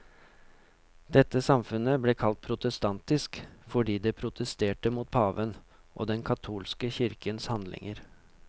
Dette samfunnet ble kalt protestantisk, fordi det protesterte mot paven og den katolske kirkens handlinger.